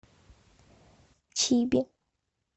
чиби